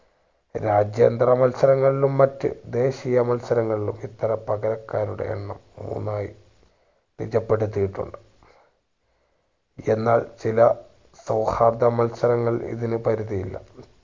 രാജ്യാന്തര മത്സരങ്ങളിലും മറ്റ് ദേശീയ മത്സരങ്ങളിലും ഇത്തര പകരക്കാരുടെ എണ്ണം മൂന്നായി നിജപ്പെടുത്തിയിട്ടുണ്ട് എന്നാൽ ചില സൗഹാർദ്ര മത്സരങ്ങളിൽ ഇതിനു പരിധി ഇല്ല